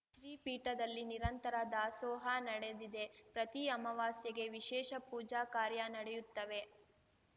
ಶ್ರೀಪೀಠದಲ್ಲಿ ನಿರಂತರ ದಾಸೋಹ ನಡೆದಿದೆ ಪ್ರತಿ ಅಮವಾಸ್ಯೆಗೆ ವಿಶೇಷ ಪೂಜಾ ಕಾರ್ಯ ನಡೆಯುತ್ತವೆ